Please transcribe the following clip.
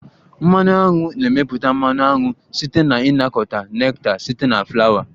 Mmanụ aṅu na-emepụta mmanụ aṅụ site na ịnakọta nectar site na Flawa